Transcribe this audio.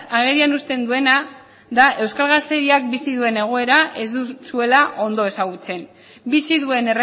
agerian uzten duena da euskal gaztediak bizi duen egoera ez duzuela ondo ezagutzen bizi duen